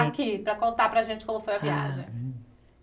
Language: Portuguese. Aqui, para contar para a gente como foi a viagem.